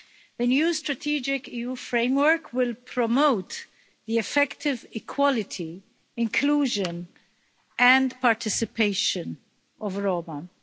The new strategic EU framework will promote the effective equality, inclusion and participation of Roma.